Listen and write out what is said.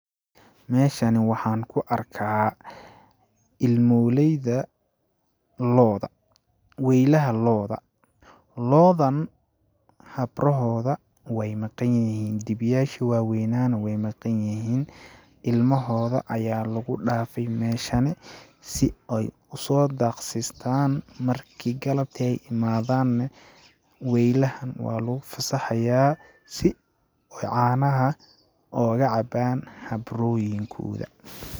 Meeshani waxaan ku arkaa ,ilmooleyda looda ,weylaha looda ,loodan habrahooda weey maqan yihiin ,dibi yaashi waa weynaa ne weey maqan yihiin, ilmahooda ayaa lagu dhaafay meeshani si ooy usoo daaq sistaan marki galabti imaadaan neh weylaha waa lagu fasaxayaa, si ooy canaha ooga cabaan habrooyin kooda.